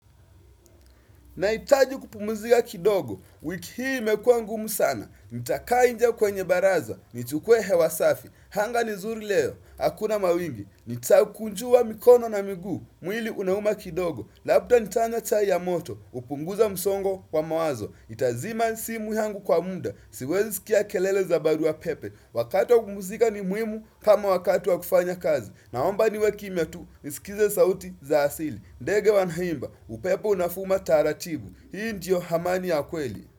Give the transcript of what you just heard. Naitaji kupumuzika kidogo, wiki hii imekua ngumu sana, nitaka nje kwenye baraza, nitukuwe hewasafi, hanga nizuri leo, hakuna mawingi, nitakunjua mikono na migu, mwili unauma kidogo, labda nitanya chai ya moto, upunguza msongo kwa mawazo, itazima simu yangu kwa munda, siwezi sikia kelele za baruwa pepe, wakati wa kumuzika ni muimu kama wakatu wa kufanya kazi, naomba niwe kimia tu, nisikize sauti za asili. Ndege wanhaimba, upepu nafuma taratibu Hii ndiyo hamani ya kweli.